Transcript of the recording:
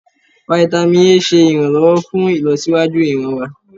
Fáítámì A ṣe iranlọwọ fún ìlọsíwájú ìran wa.